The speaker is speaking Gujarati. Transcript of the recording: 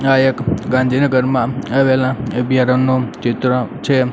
આ એક ગાંધીનગરમાં આવેલા અભ્યારણ નું ચિત્ર છે.